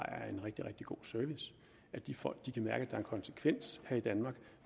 er en rigtig rigtig god service at de folk kan mærke at en konsekvens her i danmark